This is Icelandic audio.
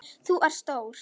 Þú ert stór.